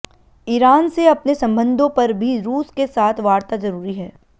Iran से अपने संबंधों पर भी रूस के साथ वार्ता जरूरी है